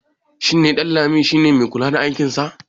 shi neƊanlami si ne mai kula da aikinsa